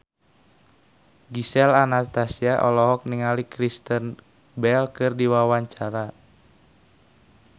Gisel Anastasia olohok ningali Kristen Bell keur diwawancara